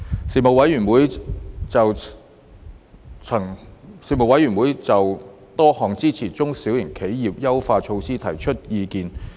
事務委員會曾就多項支援中小企的優化措施提出意見。